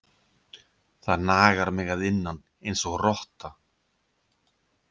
Það nagar mig að innan einsog rotta.